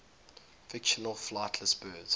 fictional flightless birds